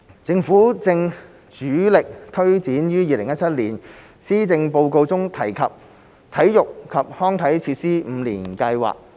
政府正主力推展於2017年施政報告中提出的體育及康樂設施五年計劃。